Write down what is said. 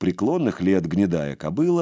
преклонных лет гнедая кобыла